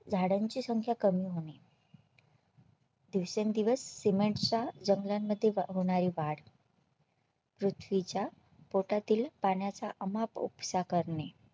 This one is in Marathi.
झाडांची संख्या कमी होणे दिवसेंदिवस Cement च्या जंगला मध्ये होणारी वाढ पृथ्वीच्या पोटातील पाण्याचा अमाप उपसा करणे